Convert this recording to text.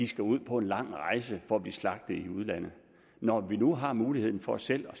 skal ud på en lang rejse for at blive slagtet i udlandet når vi nu har muligheden for selv at